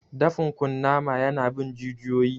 Dafin kunnama ya na bin jijiyoyi